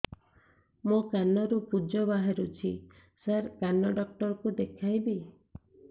ମୋ କାନରୁ ପୁଜ ବାହାରୁଛି ସାର କାନ ଡକ୍ଟର କୁ ଦେଖାଇବି